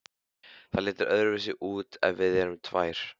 Það lítur öðruvísi út ef við erum tvær.